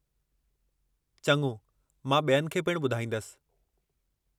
चङो, मां ॿियनि खे पिणु ॿधाईंदसि।